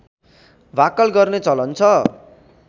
भाकल गर्ने चलन छ